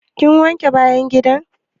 Kin wanke bayan gida?